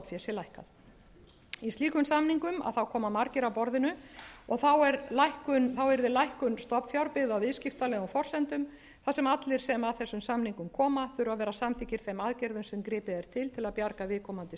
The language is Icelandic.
sé lækkað einum slíkum samningum koma margir að borðinu og þá yrði lækkun stofnfjár byggð á viðskiptalegum forsendum þar sem allir sem að þessum samningum koma þurfa að vera samþykkir þeim aðgerðum sem gripið er til til að bjarga viðkomandi